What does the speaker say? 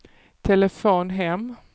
telefon hem